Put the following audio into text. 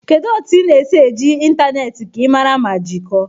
Kedu otu ị na-esi eji ịntanetị ka ị mara ma jikọọ?